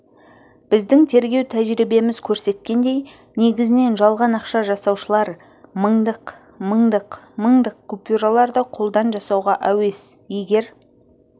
біздің тергеу тәжірибеміз көрсеткендей негізінен жалған ақша жасаушылар мыңдық мыңдық мыңдық купюраларды қолдан жасауға әуес егер